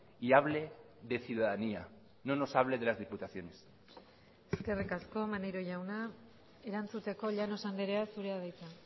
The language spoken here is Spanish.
y hable de ciudadanía no nos hable de las diputaciones eskerrik asko maneiro jauna erantzuteko llanos andrea zurea da hitza